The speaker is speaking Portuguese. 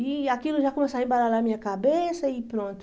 E aquilo já começou a embaralhar a minha cabeça e pronto.